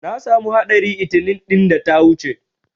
Na samu haɗari 'itinin ɗin da ta wuce.